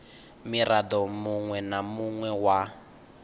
mirado munwe na munwe wa